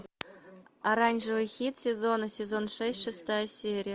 оранжевый хит сезона сезон шесть шестая серия